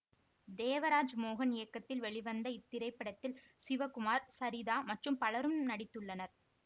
தேவராஜ் மோகன் இயக்கத்தில் வெளிவந்த இத்திரைப்படத்தில் சிவகுமார் சரிதா மற்றும் பலரும் நடித்துள்ளனர்